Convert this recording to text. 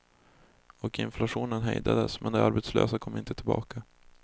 Och inflationen hejdades, men de arbetslösa kom inte tillbaka.